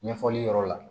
Ɲɛfɔli yɔrɔ la